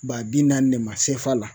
Ba bi naani de ma sefa la